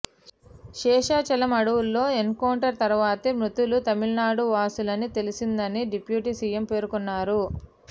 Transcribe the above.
శేషాచలం అడవుల్లో ఎన్కౌంటర్ తర్వాతే మృతులు తమిళనాడు వాసులని తెలిసిందని డిప్యూటీ సీఎం పేర్కొన్నారు